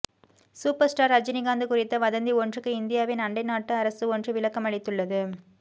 super star Rajinikanth குறித்த வதந்தி ஒன்றுக்கு இந்தியாவின் அண்டை நாட்டு அரசு ஒன்று விளக்கமளித்துள்ளது